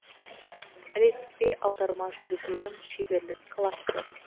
ілеспе аударма жүргізудің шеберлік классы